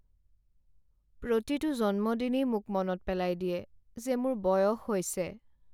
প্ৰতিটো জন্মদিনেই মোক মনত পেলাই দিয়ে যে মোৰ বয়স হৈছে।